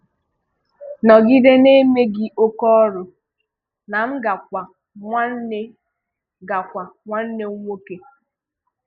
Nọgide na-eme gị oké ọrụ na m ga-kwa nwanne ga-kwa nwanne m nwókè!